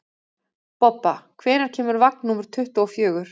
Bobba, hvenær kemur vagn númer tuttugu og fjögur?